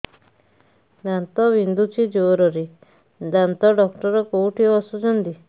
ଦାନ୍ତ ବିନ୍ଧୁଛି ଜୋରରେ ଦାନ୍ତ ଡକ୍ଟର କୋଉଠି ବସୁଛନ୍ତି